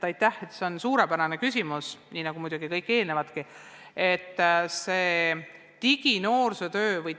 Aitäh, see on suurepärane küsimus, nii nagu muidugi kõik eelnevadki.